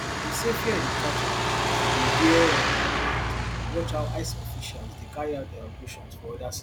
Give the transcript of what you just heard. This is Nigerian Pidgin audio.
e say fear dey catch am as e dey hear um and watch how ice officials dey carry out dia operations for oda cities